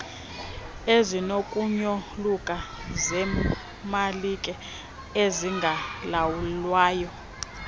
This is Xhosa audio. ezinokunyoluka zeemalike ezingalawulwayo